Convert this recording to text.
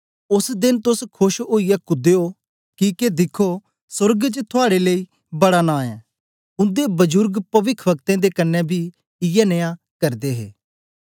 ओस देन तोस खोश ओईयै कूदयो किके दिख्खो सोर्ग च थुआड़े लेई बड़ा नां ऐ उन्दे बजुर्ग पविखवक्तें दे कन्ने बी इयै नियां करदे हे